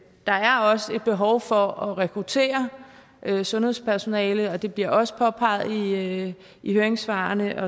der er også et behov for at rekruttere sundhedspersonale og det bliver også påpeget i i høringssvarene